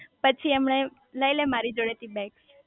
પછી એમને લઇ લે મારો જોડે થી બેગ